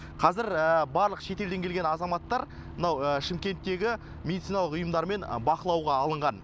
қазір барлық шетелден келген азаматтар мынау шымкенттегі медициналық ұйымдармен бақылауға алынған